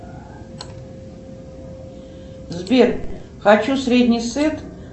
сбер хочу средний сет